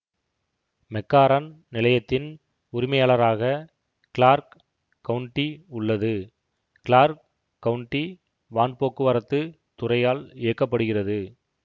McCarran நிலையத்தின் உரிமையாளராக Clark County உள்ளது கிளார்க் கவுன்ட்டி வான்போக்குவரத்து துறையால் இயக்க படுகிறது